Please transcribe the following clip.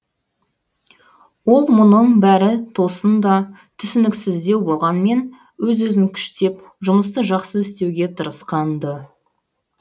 ол мұның бәрі тосын да түсініксіздеу болғанмен өз өзін күштеп жұмысты жақсы істеуге тырысқан ды